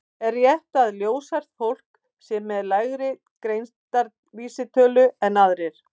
Er rétt að ljóshært fólk sé með lægri greindarvísitölu en aðrir?